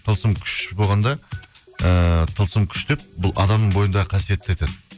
тылсым күш болғанда ыыы тылсым күш деп бұл адамның бойындағы қасиетті айтады